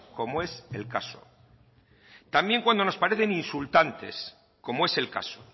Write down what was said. como es el caso también cuando nos parecen insultantes como es el caso